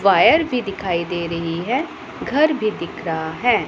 Wire भी दिखाई दे रही है घर भी दिख रहा हैं।